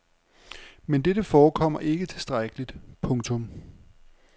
Men dette forekommer ikke tilstrækkeligt. punktum